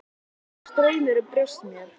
Þá fór straumur um brjóst mér.